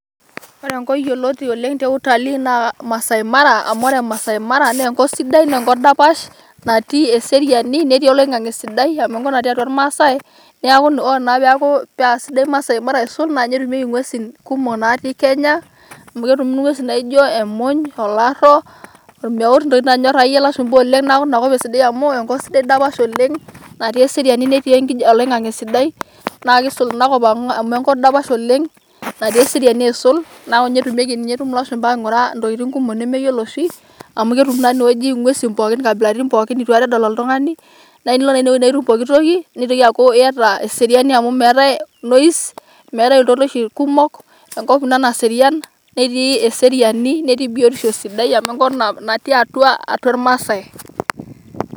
Woore enkop yioloti oleng te utalii na maasai mara amu wore inakop naa enkop sidai naa enkop dapash natii eseriani netii oloing'ang'e sidai amu enkop natii atua ilmaasai neaku wore paa sidai maasai mara aisul na ninye etumieki ng'uesi kumok natumieki kenya. Amu ketumi ng'uesi naijioo emuny, olaro, olmeut, ntokiting' akeyie nanyor ilashumba oleng neaku inakop enyor ilashumba amu enkop sidai oleng netii oloing'ang'e sidai naa kisul inakop amu enkop dapash oleng natii eseriani oleng asiul neaku ninye etumoki lashumba aingoriee ntokiting' kumok nemeyiolo oshi amu ketumieki nguesi pookin kambilaritin pookin nitu aikata edol oltungani naa enilo inee nituum pooki toki nitoki aaku yyata eseriani amu metai iltoiloshi kumok enkop ina naserian netii eseriani netii biotisho amu enkop natii atuaa ilmaasai